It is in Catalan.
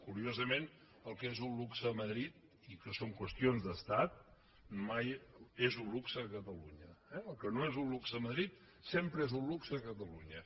curiosament el que és un luxe a madrid i que són qüestions d’estat mai no és un luxe a catalunya eh el que no és un luxe a madrid sempre és un luxe a catalunya